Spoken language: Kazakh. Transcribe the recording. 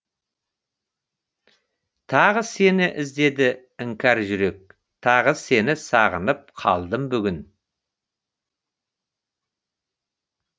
тағы сені іздеді іңкәр жүрек тағы сені сағынып қалдым бүгін